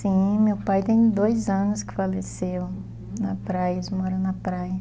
Sim, meu pai tem dois anos que faleceu, uhum, na praia, eles moram na praia.